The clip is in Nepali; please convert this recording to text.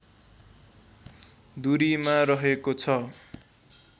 दुरीमा रहेको छ